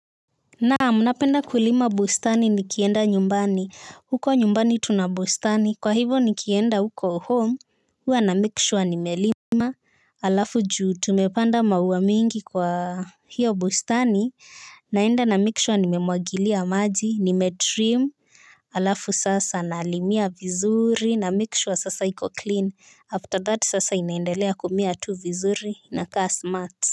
Naam napenda kulima bustani nikienda nyumbani huko nyumbani tunabustani kwa hivyo nikienda huko home huwa na make sure nimelima alafu juu tumepanda maua mingi kwa hiyo bustani naenda na make sure nimemwagilia maji nimetrim alafu sasa nalimia vizuri na make sure sasa iko clean after that sasa inaendelea kumea tu vizuri na kaa smart.